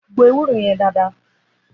Gbò èwúrò yen dàdá